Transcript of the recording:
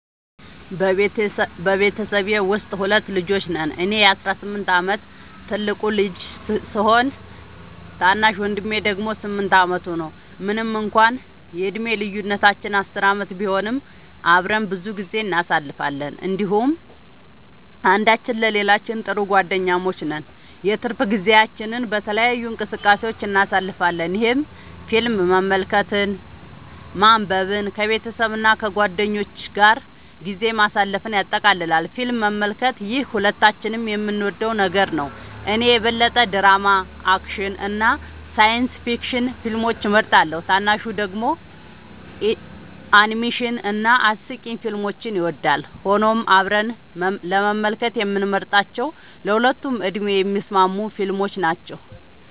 በቤተሰቤ ውስጥ ሁለት ልጆች ነን - እኔ የ18 ዓመት ትልቁ ልጅ ሲሆን፣ ታናሽ ወንድሜ ደግሞ 8 ዓመቱ ነው። ምንም እንኳን የዕድሜ ልዩነታችን 10 ዓመት ቢሆንም፣ አብረን ብዙ ጊዜ እናሳልፋለን እንዲሁም አንዳችን ለሌላችን ጥሩ ጓደኛሞች ነን። የትርፍ ጊዜያችንን በተለያዩ እንቅስቃሴዎች እናሳልፋለን፣ ይህም ፊልም መመልከትን፣ ማንበብን፣ ከቤተሰብ እና ከጓደኞች ጋር ጊዜ ማሳለፍን ያጠቃልላል። ፊልም መመልከት - ይህ ሁለታችንም የምንወደው ነገር ነው። እኔ የበለጠ ድራማ፣ አክሽን እና ሳይንስ ፊክሽን ፊልሞችን እመርጣለሁ፣ ታናሹ ደግሞ አኒሜሽን እና አስቂኝ ፊልሞችን ይወዳል። ሆኖም አብረን ለመመልከት የምንመርጣቸው ለሁለቱም ዕድሜ የሚስማሙ ፊልሞች ናቸው።